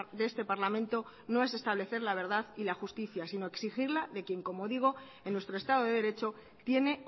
de este parlamento no es establecer la verdad y la justicia sino exigirla de quien como digo en nuestro estado de derecho tiene